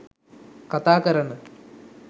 කතා කරන